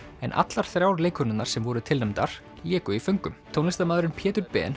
en allar þrjár leikkonurnar sem voru tilnefndar léku í föngum tónlistarmaðurinn Pétur Ben